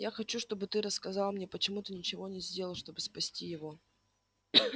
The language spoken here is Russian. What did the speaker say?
я хочу чтобы ты рассказал мне почему ты ничего не сделал чтобы спасти его